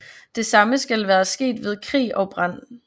Det samme skal være sket ved krig og brand